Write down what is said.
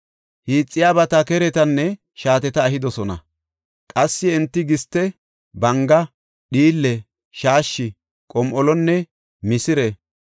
hiixiyabata, keretanne shaateta ehidosona. Qassi enti giste, banga, dhiille, shaashshi, qom7olonne misire,